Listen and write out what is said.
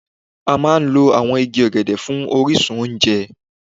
A máa ń lo àwọn igi ọ̀gẹ̀dẹ̀ fún orísun oúnjẹ.